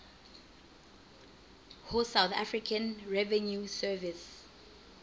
ho south african revenue service